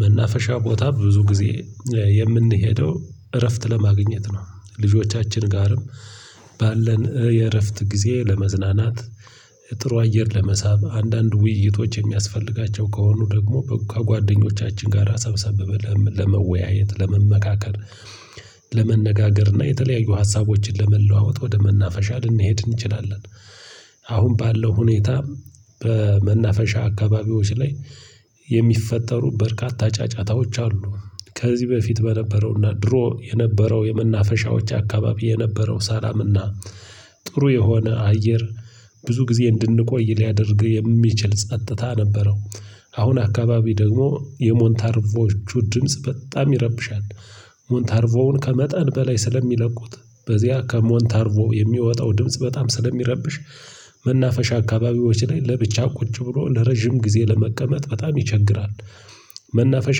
መናፈሻ ቦታ ብዙ ጊዜ የምንሄደው እረፍት ለማግኘት ነው። ልጆቻችን ጋርም ባለን የእረፍት ጊዜ ለመዝናናት ጥሩ አየር ለመሳብ አንዳንድ ውይይቶች የሚያስፈልጋቸው ከሆኑ ደግሞ ከጓደኞቻችን ጋር ሰብሰብ ብለን ለመወያየት ለመመካከል ለመነጋገር እና የተለያዩ ሀሳቦችን ለመለዋወጥ ወደ መናፈሻ ልንሄድ እንችላለን። አሁን ባለው ሁኔታ በመናፈሻ አካባቢዎች ላይ የሚፈጠሩ በርካታ ጫጫታዎች አሉ። ከዚህ በፊት በነበረውና ድሮ የነበረው የመናፈሻዎች አካባቢ የነበረው ሰላምና ጥሩ የሆነ አየር ብዙ ጊዜ እንድንቆይ ሊያደርግ የሚችል ጸጥታ ነበረው። አሁን አካባቢ ደግሞ የሞንታርቮቹ ድምጽ በጣም ይረብሻል። ሞንታርቮውን ከመጠን በላይ ስለሚለቁት በዚያ ከሞንታርቮ የሚወጣው ድምጽ በጣም ስለሚረብሽ መናፈሻ አካባቢዎች ላይ ለብቻ ቁጭ ብሎ ለረጅም ጊዜ ለመቀመጥ በጣም ይቸግራል። መናፈሻ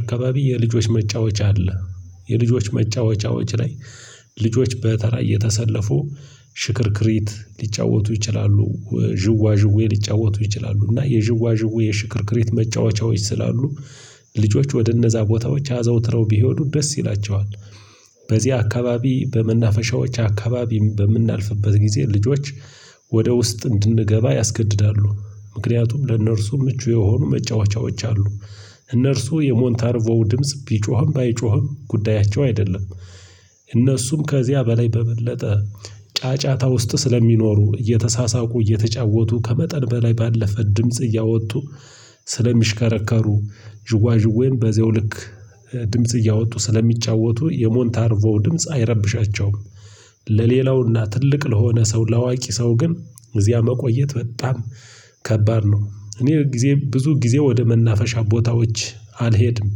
አካባቢ የልጆች መጫወቻ አለ። የልጆች መጫወቻዎች ላይ ልጆች በተራ እየተሰለፉ ሽክርክሪት ሊጫወቱ ይችላሉ ዥዋ ዥዌ ሊጫወቱ ይችላሉ እና የዥዋ ዥዌ የሽክርክሪት መጫወቻዎች ስላሉ ልጆች ወደ እነዛ ቦታዎች አዘውትረው ቢሄዱ ደስ ይላቸዋል። በዚህ አካባቢ በመናፈሻዎች አካባቢ በምናልፍበት ጊዜ ልጆች ወደ ውስጥ እንድንገባ ያስገድዳሉ ምክንያቱም ለእነርሱ ምቹ የሆኑ መጫወቻዎች አሉ። እነርሱ የሞንታርቮ ድምጽ ቢጮህም ባይጮህም ጉዳያቸው አይደለም። እነሱም ከዚያ በላይ በበለጠ ጫጫታ ውስጥ ስለሚኖሩ እየተሳሳቁ እየተጫወቱ ከመጠን በላይ ባለፈ ድምጽ እያወጡ ስለሚሽከረከሩ ዥዋዥዌም በዚያው ልክ ድምጽ እያወጡ ስለሚጫወቱ የሞንታርቮው ድምጽ አይረብሻቸውም። ለሌላውና ትልቅ ለሆነ ሰው ለአዋቂ ሰው ግን እዚያ መቆየት በጣም ከባድ ነው። እኔ ብዙ ጊዜ ወደ መናፈሻ ቦታዎች አልሄድም።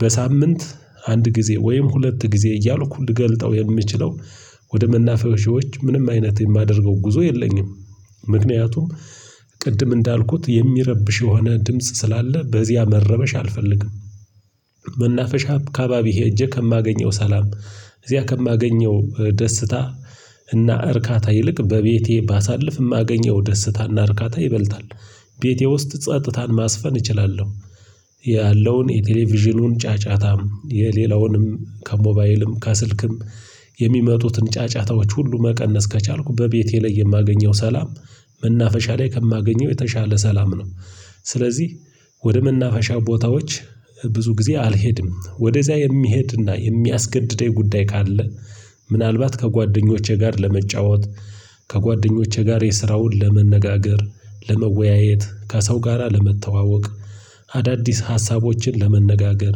በሳምንት አንድ ጊዜ ወይም ሁለት ጊዜ እያልኩ ልገልጠው የምችለው ወደ መናፈሻዎች ምንም አይነት የማደርገው ጉዞ የለኝም። ምክንያቱም ቅድም እንዳልኩት የሚረብሽ የሆነ ድምጽ ስላለ በዚያ መረበሽ አልፈልግም። መናፈሻ ከአባቢ ሄጄ ከማገኘው ሰላም እዚያ ከማገኘው ደስታ እና እርካታ ይልቅ በቤቴ ባሳልፍ የማገኘው ደስታና እርካታ ይበልጣል። ቤቴ ውስጥ ጸጥታን ማስፈን እችላለሁ። ያለውን የቴሌቪዥኑን ጫጫታም የሌላውንም ከሞባይልም ከስልክም የሚመጡትን ጫጫታዎች ሁሉ መቀነስ ከቻልኩ በቤቴ ላይ የማገኘው ሰላም። መናፈሻ ላይ ከማገኘው የተሻለ ሰላም ነው። ስለዚህ ወደ መናፈሻ ቦታዎች ብዙ ጊዜ አልሄድም ወደዚያ የሚሄድና የሚያስገድደኝ ጉዳይ ካለ። ምናልባት ከጓደኞቼ ጋር ለመጫወት ከጓደኞቼ ጋር የስራ ውል ለመነጋገር ለመወያየት ከሰው ጋራ ለመተዋወቅ አዳዲስ ሀሳቦችን ለመነጋገር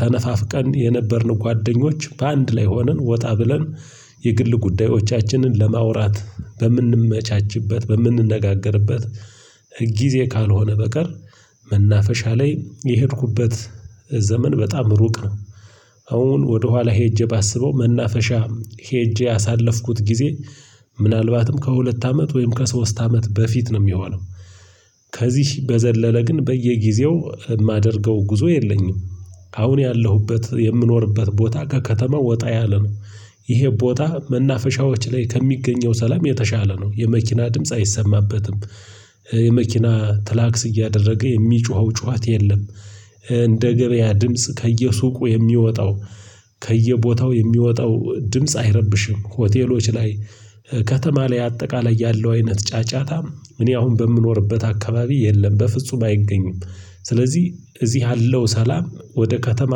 ተነፋፍቀን የነበርን ጓደኞች በአንድ ላይ ሆነን ወጣ ብለን የግል ጉዳዮቻችንን ለማውራት በምንመቻችበት በምንነጋገርበት ጊዜ ካልሆነ በቀር መናፈሻ ላይ የሄድኩበት ዘመን በጣም ሩቅ ነው። አሁን ወደኋላ ሄጄ ባስበው መናፈሻ ሄጄ ያሳለፍኩት ጊዜ ምናልባትም ከሁለት አመት ወይም ከሶስት አመት በፊት ነው የሚሆነው። ከዚህ በዘለለ ግን በየጊዜው የማደርገው ጉዞ የለኝም። አሁን ያለሁበት የምኖርበት ቦታ ከከተማ ወጣ ያለ ነው። ይሄ ቦታ መናፈሻዎች ላይ ከሚገኘው ሰላም የተሻለ ነው የመኪና ድምጽ አይሰማበትም። የመኪና ትላክስ እያደረገ የሚጮኸው ጩኸት የለም። እንደ ገበያ ድምጽ ከየሱቁ የሚወጣው ከየቦታው የሚወጣው ድምጽ አይረብሽም። ሆቴሎች ላይ ከተማ ላይ አጠቃላይ ያለው አይነት ጫጫታ እኔ አሁን በምኖርበት አካባቢ የለም በፍጹም አይገኝም። ስለዚህ እዚህ ያለው ሰላም ወደ ከተማ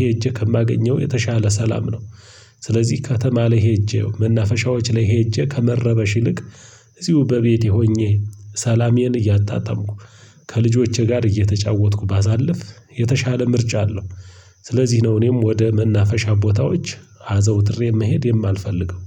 ሄጄ ከማገኘው የተሻለ ሰላም ነው። ስለዚህ ከተማ ላይ ሄጄ መናፈሻዎች ላይ ሄጄ ከመረበሽ ይልቅ እዚሁ በቤቴ ሆኜ ሰላሜን እያታጣጣምኩ ከልጆቼ ጋር እየተጫወትኩ ባሳልፍ የተሻለ ምርጫ አለው። ስለዚህ ነው እኔም ወደ መናፈሻ ቦታዎች አዘውትሬ መሄድ የማልፈልገው።